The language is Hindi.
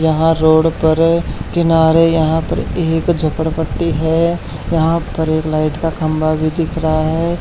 यहां रोड पर किनारे यहां पर एक झोपड़पट्टी है यहां पर एक लाइट का खंभा भी दिख रहा है।